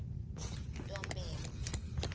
ntombela